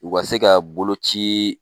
U ka se ka boloci